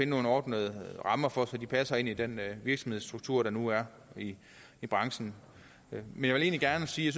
nogle ordnede rammer for så de passer ind i den virksomhedsstruktur der nu er i branchen men jeg vil gerne sige